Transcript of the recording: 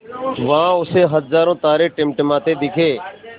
वहाँ उसे हज़ारों तारे टिमटिमाते दिखे